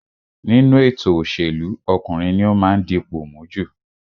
Nínú ètò òṣèlú, ọkùnrin ní ó máa ń dipò mú jù